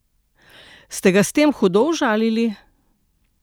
Ste ga s tem hudo užalili?